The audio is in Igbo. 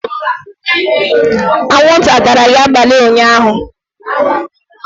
anwụnta atara gị abalị ụnyaahụ?